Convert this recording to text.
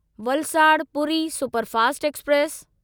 Valsad Puri superfast express